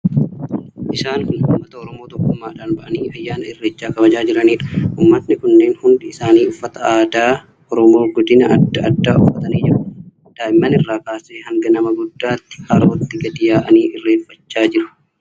Isaan kun uummata Oromoo tokkummaadhaan ba'anii ayyaana Irreechaa kabajaa jiraniidha. Uummatni kunneen hundi isaanii uffata aadaa Oromoo kan godina addaa addaa uffatanii jiru. Daa'imman irraa kaasee hanga nama guddaatti harootti gadi jechuun irreeffachaa jiru.